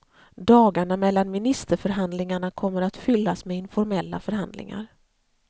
Dagarna mellan ministerförhandlingarna kommer att fyllas med informella förhandlingar.